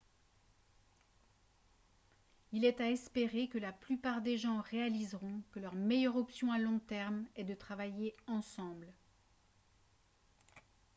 il est à espérer que la plupart des gens réaliseront que leur meilleure option à long terme est de travailler ensemble